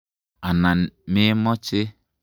Anan me moche?